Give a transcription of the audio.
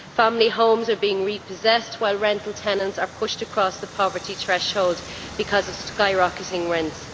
Family homes are being repossessed while rental tenants are pushed across the poverty threshold because of skyrocketing rents.